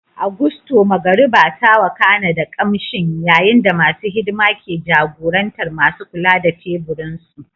A Gusto, magariba ta wakana da kamshin, yayin da masu hidima ke jagorantar masu kula da teburinsu.